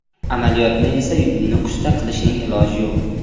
Amaliyotni esa Nukusda qilishning iloji yo‘q.